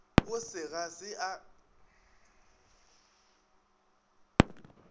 go se ga se a